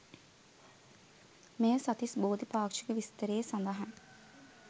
මෙය සත්තිස්බෝධි පාක්ෂික විස්තරයේ සඳහන්